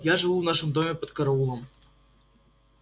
я живу в нашем доме под караулом